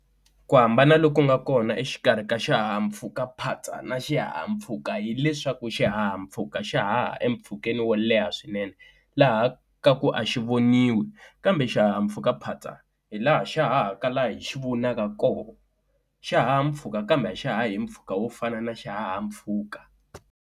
Ku hambana loku nga kona exikarhi ka xihahampfhukaphatsa na xihahampfhuka, hileswaku xihahampfhuka xa haha empfhukeni wo leha swinene laha kaku a xi voniwi, kambe xihahampfhukaphatsa hilaha xa hahaka laha hi xi vonaka koho, xa haha mpfhuka kambe axi hahi mpfhuka wo fana na xihahampfhuka.